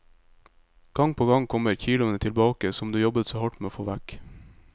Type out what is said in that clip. Gang på gang kommer kiloene tilbake som du jobbet så hardt med å få vekk.